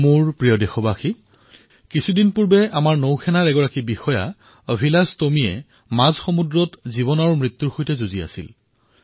মোৰ মৰমৰ দেশবাসীসকল কিছুদিন পূৰ্বে নেভিৰ আমাৰ এক বিষয়া অভিলাস টোমীয়ে জীৱনমৃত্যুৰ যুঁজ দি আছিল